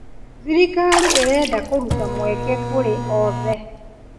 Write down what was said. Thirikari ĩrenda kũruta mweke kũrĩ oothe.